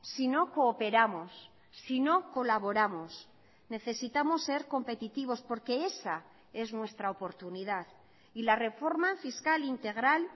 si no cooperamos si no colaboramos necesitamos ser competitivos porque esa es nuestra oportunidad y la reforma fiscal integral